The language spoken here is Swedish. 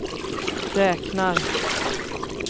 räknar